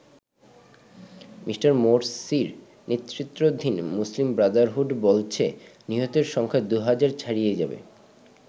Me. মোরসির নেতৃত্বাধীন Muslim Brotherhood বলছে নিহতের সংখ্যা দু'হাজার ছাড়িয়ে যাবে।